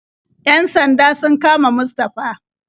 Yan sanda sun kama Mustafa.